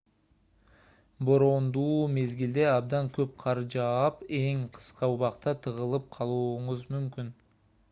бороондуу мезгилде абдан көп кар жаап эң кыска убакта тыгылып калууңуз мүмкүн